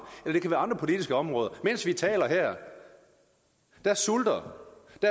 eller andre politiske områder mens vi taler her sulter